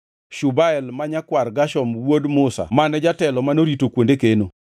Shubael ma nyakwar Gershom wuod Musa mane jatelo manorito kuonde keno.